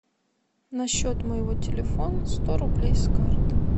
на счет моего телефона сто рублей с карты